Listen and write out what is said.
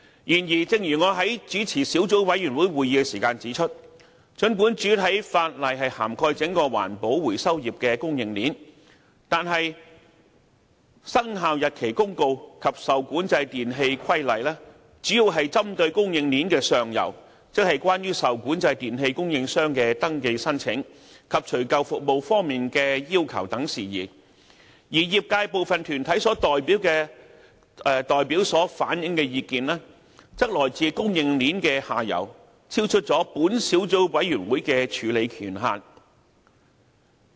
然而，正如我在主持小組委員會時指出，儘管主體法例涵蓋整個環保回收業的供應鏈，但《生效日期公告》及《受管制電器規例》主要針對供應鏈的上游，即有關受管制電器供應商的登記申請，以及除舊服務方面的要求等事宜，而業界部分團體代表所反映的意見，則來自供應鏈的下游，超出本小組委員會的處理權限。